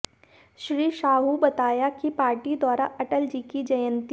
श्री साहू बताया कि पार्टी द्वारा अटल जी की जयंती